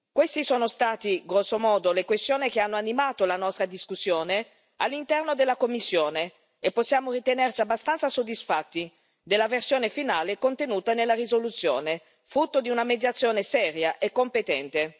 Queste sono state, grosso modo, le questioni che hanno animato la nostra discussione all'interno della commissione, e possiamo ritenerci abbastanza soddisfatti della versione finale della risoluzione, frutto di una mediazione seria e competente.